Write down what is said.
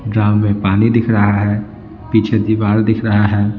में पानी दिख रहा है पीछे दीवार दिख रहा है।